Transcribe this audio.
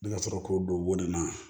Ne ka sɔrɔ k'o don bɔnni na